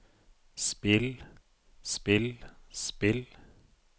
spill spill spill